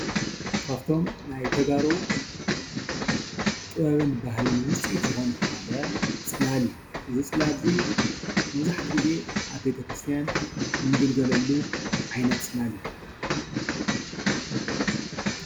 ካብቶም ናይ ተጋሩ ጥበብን ባህልን ውፅኢት ዝኮነ ሓደ ፅላል እዩ። እዚ ፅላል እዚ መብዛሕቱኡ ግዜ ኣብ ቤተ ክርስትያን እንግልገለሉ ዓይነት ፅላል እዩ።